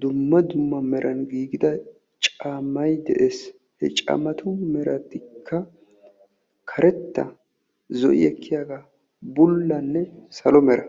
dumma dumma meran giigida caammay de'ees. He caammatu meratikka karetta, zo'i ekkiyaagaa, bullanne salo mera.